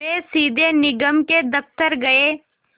वे सीधे निगम के दफ़्तर गए